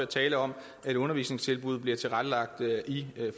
tale om at undervisningstilbud bliver tilrettelagt i